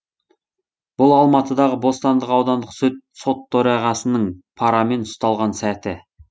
бұл алматыдағы бостандық аудандық сот төрағасының парамен ұсталған сәті